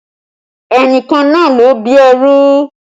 Ẹnìkan náà ló bí ẹrú